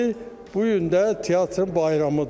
Bu gün də teatrın bayramıdır.